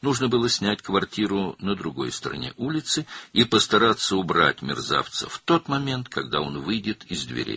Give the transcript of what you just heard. Küçənin o biri tərəfində bir mənzil kirayəyə götürmək və alçaq qapıdan çıxan kimi onu aradan qaldırmağa çalışmaq lazım idi.